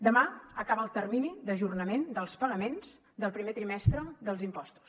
demà acaba el termini d’ajornament dels pagaments del primer trimestre dels impostos